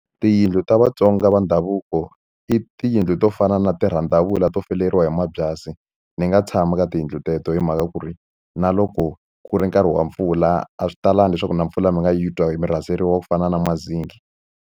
Tiyindlu ta Vatsonga va ndhavuko i tiyindlu to fana na tirhandavula to fuleriwa hi mabyasi ni nga tshami ka tiyindlu teto hi mhaka ku ri na loko ku ri nkarhi wa mpfula a swi talangi leswaku na mpfula mi nga yi twa hi mi raseliwa ku fana na mazenge.